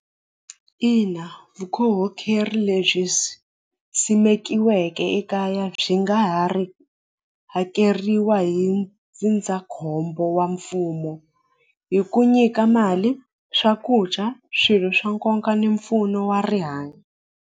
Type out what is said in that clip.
Ina lebyi simekiweke ekaya byi nga ha ri hakeriwa hi ndzindzakhombo wa mfumo hi ku nyika mali swakudya swilo swa nkoka ni mpfuno wa rihanyo.